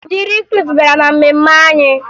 Ndị rikruutu bịara na mmemme anyị